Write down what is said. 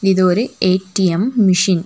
இது ஒரு A T M machine .